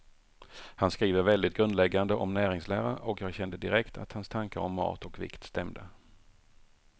Han skriver väldigt grundläggande om näringslära, och jag kände direkt att hans tankar om mat och vikt stämde.